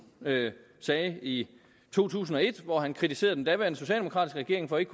sagde i to tusind og et hvor han kritiserede den daværende socialdemokratiske regering for ikke